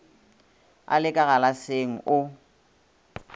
a le ka galaseng o